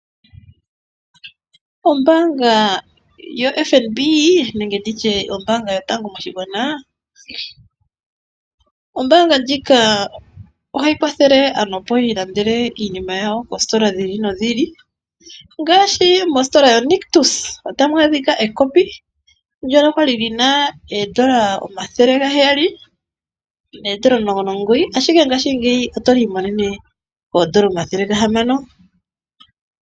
Ombaanga yoFnb nenge nditye ombaanga yotango yopashigwana. Ombaanga ndjika ohayi kwathele aantu opo yi ilandele iinima yawo koositola dhi ili nodhi ili ngaashi mositola yo Nictus otamu adhika ekopi ndoka kwali lina oodola omathele gaheyali noodola omulongo nomugoyi ashike ngashingeyi oto li imonene koodola omathele gahamano.